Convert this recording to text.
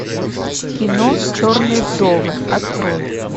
кино черные вдовы открой